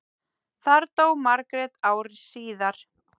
Þar dó Margrét ári síðar.